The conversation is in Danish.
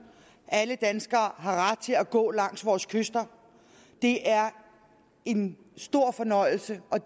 alle danskere har ret til at gå langs vores kyster det er en stor fornøjelse og